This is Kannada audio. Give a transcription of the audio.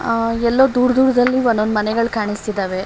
ಎಲ್ಲೊ ದೂರ್ ದೂರ್ ದಲ್ಲಿ ಒಂದ್ ಒಂದ್ ಮನೆಗಳ್ ಕಾಣಿಸ್ತಿದ್ದಾವೆ.